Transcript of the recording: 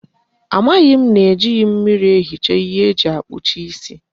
Amaghi m na ejighi mmiri ehicha ihe eji akpucha isi